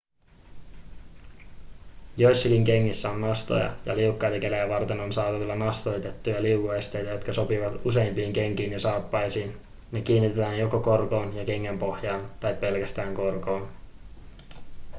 joissakin kengissä on nastoja ja liukkaita kelejä varten on saatavilla nastoitettuja liukuesteitä jotka sopivat useimpiin kenkiin ja saappaisiin ne kiinnitetään joko korkoon ja kengänpohjaan tai pelkästään korkoon